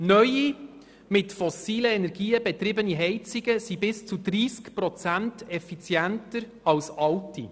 Neue mit fossilen Energien betriebene Heizungen sind bis zu 30 Prozent effizienter als alte.